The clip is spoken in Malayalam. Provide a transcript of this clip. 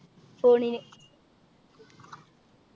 phone നു